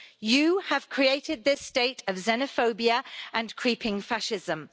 You have created this state of xenophobia and creeping fascism.